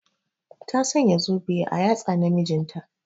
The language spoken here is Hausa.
Ta Sanya zobe a yatsa na mijinta.